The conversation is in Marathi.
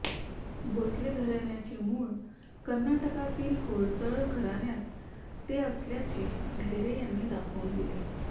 भोसले घराण्याचे मूळ कर्नाटकातील होयसळ घराण्यात ते असल्याचे ढेरे यांनी दाखवून दिले